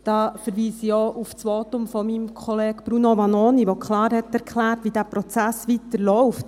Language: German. Da verweise ich auch auf das Votum meines Kollegen Bruno Vanoni, der klar erklärte, wie der Prozess weiterläuft.